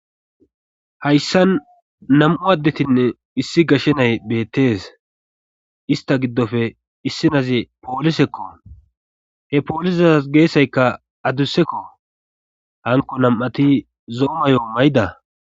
Hayssan nam'u addetinne issi gashshe nay beettees ista giddofe issinaze poolisekko he poolizas geesaykka adussekko hanko nam'ati zoomayo may'da.